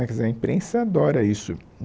Né quer dizer a imprensa adora isso.